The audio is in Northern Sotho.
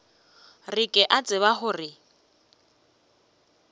re ke a tseba gore